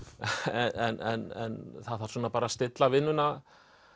en það þarf svona bara að stilla vinnuna